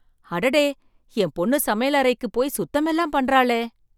அடடே என் பொண்ணு சமையல் அறைக்கு போய் சுத்தமெல்லாம் பண்றாளே!